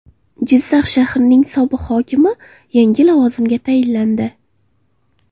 Jizzax shahrining sobiq hokimi yangi lavozimga tayinlandi.